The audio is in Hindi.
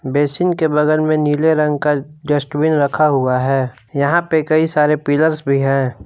बेशिंग के बगल में नीले रंग का डस्टबीन रखा हुआ है यहां पे कई सारे पिलर्स भी हैं।